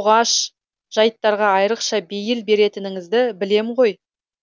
оғаш жайттарға айрықша бейіл беретініңізді білем ғой